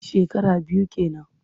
Shekara biyu ke nan.